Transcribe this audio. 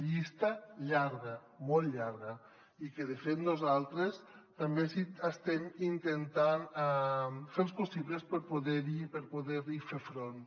llista llarga molt llarga i de fet nosaltres també estem intentant fer els possibles per poder hi fer front